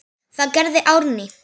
Það gerði Árný.